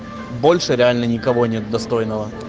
больше реально никого нет достойного